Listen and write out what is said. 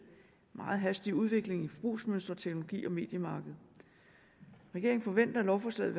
meget hastige udvikling i forbrugsmønster teknologi og mediemarked regeringen forventer at lovforslaget